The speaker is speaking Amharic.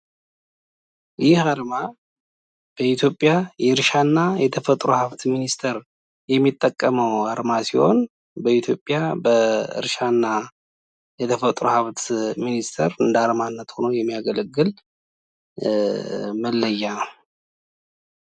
ይህ አርማ በኢትዮጵያ የእርሻና የተፈጥሮ ሃብት ሚኒስቴር የሚጠቀመው አርማ ሲሆን በኢትዮጵያና በእርሻና የተፈጥሮ ሃብት ሚኒስትር እንደአርማነት ሆኖ የሚያገለግል መለያ ነው።